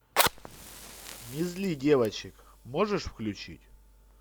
не зли девочек можешь включить